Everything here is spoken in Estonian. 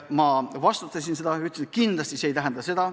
Ma vastustasin seda ja ütlesin, et kindlasti see ei tähenda seda.